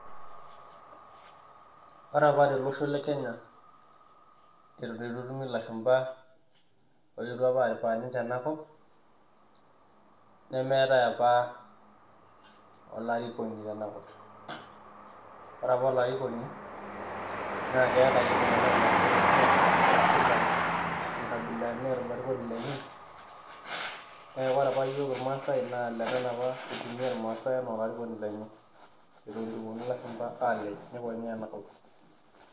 Ore apa tolosho le kenya eitu eton etumi ilashumba ooyetu apa ninche aripaa enakop nemeetai apa olarikoki tenakop ore apa olarikoni naakeeta apa iltunganak olarikoni lenye aa kila enkabila neeta olarikoni lenye neeku ore apa iyiok irmaasae naa lenana apa eitumiya irmaasae enaa olarikoni lenye eton eitu epuonu ilashumba aalej ,eitu eikonyaa enakop.